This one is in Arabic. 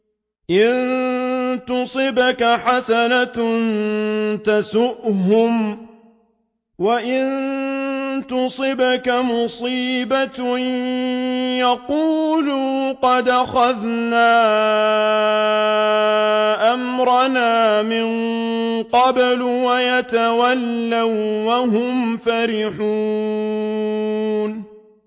إِن تُصِبْكَ حَسَنَةٌ تَسُؤْهُمْ ۖ وَإِن تُصِبْكَ مُصِيبَةٌ يَقُولُوا قَدْ أَخَذْنَا أَمْرَنَا مِن قَبْلُ وَيَتَوَلَّوا وَّهُمْ فَرِحُونَ